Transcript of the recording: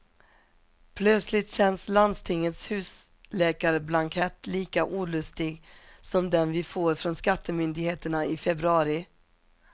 Plötsligt känns landstingets husläkarblankett lika olustig som den vi får från skattemyndigheterna i februari.